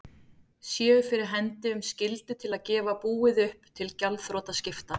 séu fyrir hendi um skyldu til að gefa búið upp til gjaldþrotaskipta.